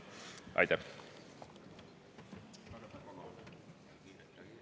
Aitäh!